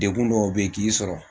Degun dɔw bɛ yen k'i sɔrɔ